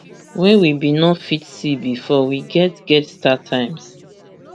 wey we bin no fit see bifor we get get startimes